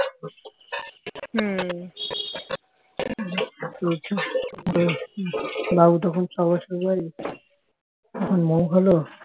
চলছে এইভাবে বাবু তখন ছয় বছর বয়স তখন মৌ হল